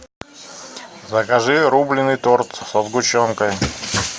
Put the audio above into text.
закажи рубленый торт со сгущенкой